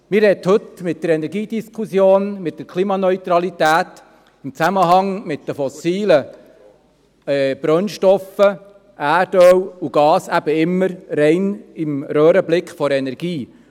Man befindet sich heute mit der Energiediskussion, mit der Klimaneutralität in Zusammenhang mit den fossilen Brennstoffen Erdöl und Gas immer rein im Röhrenblick der Energie.